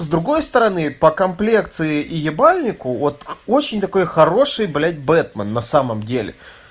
с другой стороны по комплекции и ебальнику вот очень такой хороший блять бэтмен на самом деле